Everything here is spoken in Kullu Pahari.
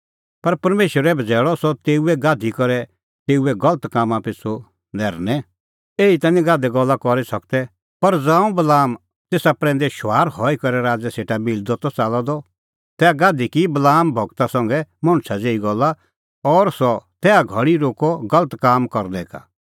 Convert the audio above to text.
पर परमेशरै बझ़ैल़अ सह तेऊए गाधी करै तेऊए गलत कामां पिछ़ू नैरनै एही ता निं गाधै गल्ला करी सकदै पर ज़ांऊं बलाम तेसा प्रैंदै शुंआर हई करै राज़ै सेटा मिलदअ त च़ाल्लअ द तैहा गाधी की बलाम गूरा संघै मणछा ज़ेही गल्ला और सह तैहा घल़ी रोक्कअ गलत काम करनै का